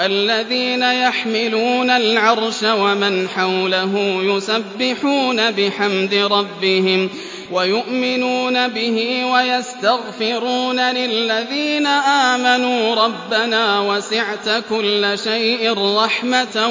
الَّذِينَ يَحْمِلُونَ الْعَرْشَ وَمَنْ حَوْلَهُ يُسَبِّحُونَ بِحَمْدِ رَبِّهِمْ وَيُؤْمِنُونَ بِهِ وَيَسْتَغْفِرُونَ لِلَّذِينَ آمَنُوا رَبَّنَا وَسِعْتَ كُلَّ شَيْءٍ رَّحْمَةً